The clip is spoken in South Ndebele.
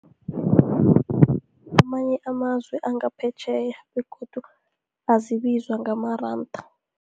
Amanye amazwe angaphetjheya, begodu azibizwa ngamaranda.